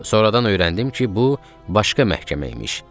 Sonradan öyrəndim ki, bu başqa məhkəmə imiş.